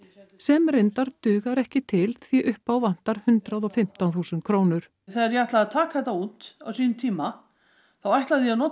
sem reyndar dugar ekki til því upp á vantar hundrað og fimmtán þúsund krónur þegar ég ætlaði að taka þetta út á sínum tíma þá ætlaði ég að nota